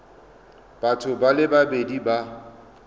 batho ba le babedi ba